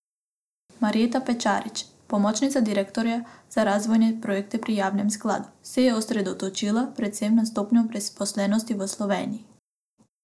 Marjeta Pečarič, pomočnica direktorja za razvojne projekte pri javnem skladu, se je osredotočila predvsem na stopnjo brezposelnosti v Sloveniji.